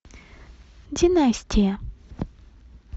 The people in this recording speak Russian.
династия